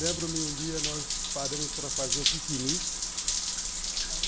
Lembro-me, um dia, nós paramos para fazer um piquenique.